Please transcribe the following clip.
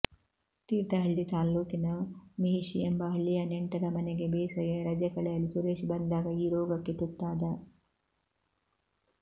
ತೀರ್ಥಹಳ್ಳಿ ತಾಲ್ಲೂಕಿನ ಮಿಹಿಶಿ ಎಂಬ ಹಳ್ಳಿಯ ನೆಂಟರ ಮನೆಗೆ ಬೇಸಗೆ ರಜೆ ಕಳೆಯಲು ಸುರೇಶ್ ಬಂದಾಗ ಈ ರೋಗಕ್ಕೆ ತುತ್ತಾದ